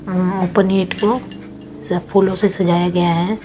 अह को सब फूलों से सजाया गया है।